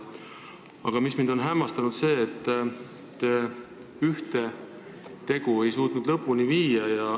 Aga mis mind on hämmastanud, on see, et te ühte asja pole suutnud lõpuni viia.